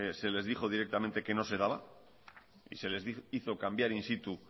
se les dijo directamente que no se daba y se les hizo cambiar in situ